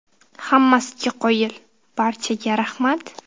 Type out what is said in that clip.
Hammasiga qoyil, barchaga rahmat.